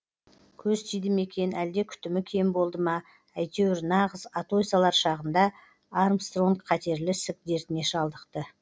көз тиді ме екен әлде күтімі кем болды ма әйтеуір нағыз атой салар шағында армстронг қатерлі ісік дертіне шалдықты